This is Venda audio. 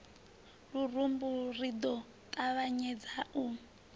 lurumbu ri ḓo ṱavhanyedza u